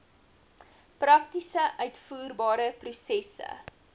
prakties uitvoerbare prosesse